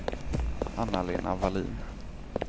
Anna-Lena Vallin